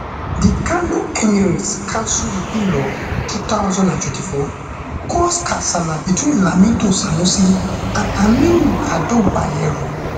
di kano emirates council repeal law two thousand and twenty-four cause kasala betweenlamido sanusiand aminu ado bayero